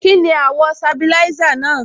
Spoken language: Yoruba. Kíni àwọ̀ sabilisa náà?